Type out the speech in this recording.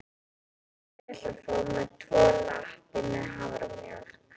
Ég ætla að fá tvo latte með haframjólk.